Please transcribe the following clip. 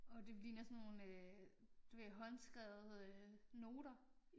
Åh det fordi det den er sådan nogle øh du ved håndskrevede øh noter